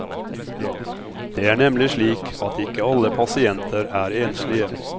Det er nemlig slik at ikke alle pasienter er enslige.